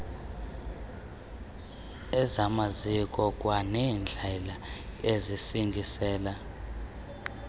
ezamaziko kwaneendlela ezisingisele